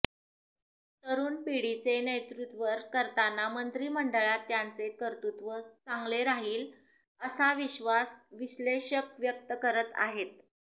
तरुण पिढीचे नेतृत्वर करतांना मंत्रीमंडळात त्याचे कर्तृत्व चांगले राहील असा विश्वास विश्लेषक व्यक्त करत आहे